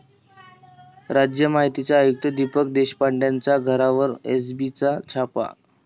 राज्य माहिती आयुक्त दीपक देशपांडेंच्या घरावर एसीबीचा छापा